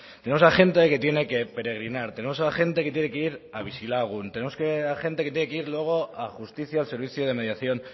tenemos a gente que tiene que peregrinar tenemos a gente que tiene que ir a bizilagun tenemos a gente que luego tiene que ir justicia al servicio de mediación